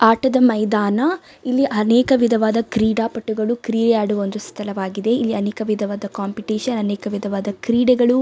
ಆಟದ ಮೈದಾನ ಇಲ್ಲಿ ಅನೇಕ ವಿಧವಾದ ಕ್ರೀಡಾಪಟುಗಳು ಕ್ರೀಡೆ ಆಡುವ ಒಂದು ಸ್ಥಳವಾಗಿದೆ. ಇಲ್ಲಿ ಅನೇಕ ವಿಧವಾದ ಕಾಂಪಿಟಿಷನ್ ಅನೇಕ ವಿಧವಾದ ಕ್ರೀಡೆಗಳು--